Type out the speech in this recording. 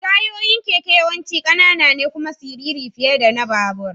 Tayoyin keke yawanci ƙanana ne kuma siriri fiye da na babur.